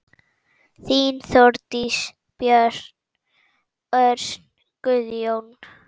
Þín, Þórdís, Björn, Örn, Guðjón.